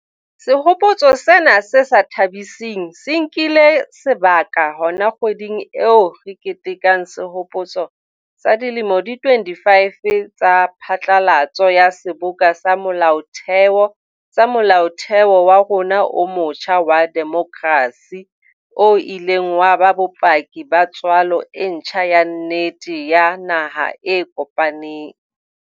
Sehopotso sena se sa tha-biseng se nkile sebaka hona kgweding eo re ketekang sehopotso sa dilemo di 25 tsa phatlalatso ya Seboka sa Molaotheo sa Molaotheo wa rona o motjha wa demokrasi, o ileng wa ba bopaki ba tswalo e ntjha ya nnete ya naha e kopaneng.